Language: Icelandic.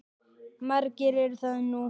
Margir eru það nú.